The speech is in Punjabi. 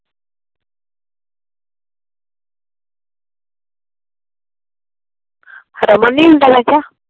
ਰਮਨ ਨਹੀਂ ਹੁੰਦਾ ਮੈ ਕਿਹਾ।